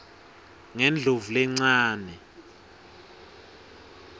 ngendlovulencane